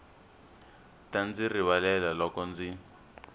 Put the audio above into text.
ta ndzi rivalela loko ndzi